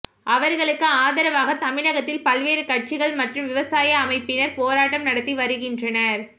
அவா்களுக்கு ஆதரவாக தமிழகத்தில் பல்வேறு கட்சிகள் மற்றும் விவசாய அமைப்பினா் போராட்டம் நடத்தி வருகின்றனா்